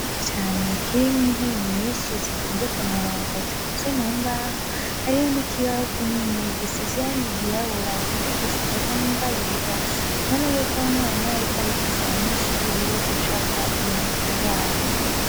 Ikirasi kinini cane kirimwo intebe nyinshi zitonze ku murongo zikozwe mu mbaho, hariho n'ikibaho kinini gisize irangi ryirabura candikishijeko n'ingwa yera, tubona yuko umwarimu yariko arigisha abanyeshuri biwe gucapa ibintu ku rubaho.